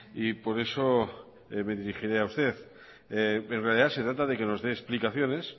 y por eso me dirigiré a usted en realidad se trata de que nos dé explicaciones